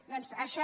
doncs això